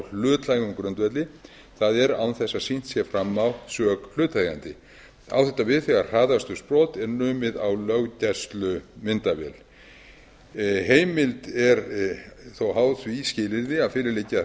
hlutlægum grundvelli það er án þess að sýnt sé fram á sök hlutaðeigandi á þetta við þegar hraðakstursbrot er numið á löggæslumyndavél heimild er þó háð því skilyrði að fyrir liggi að